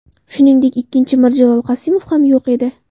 Shuningdek, ikkinchi Mirjalol Qosimov ham yo‘q edi.